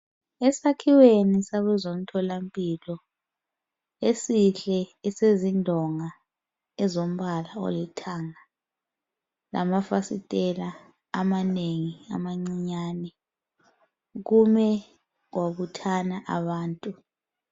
Esakhiweni sakozomtholampilo esihle esezindonga ezombala olithanga lamafasitela amanengi amancinyane. Kume kwabuthana abantu.